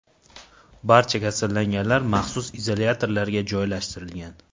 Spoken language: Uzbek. Barcha kasallanganlar maxsus izolyatorlarga joylashtirilgan.